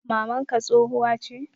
mamanka tsohuwa che?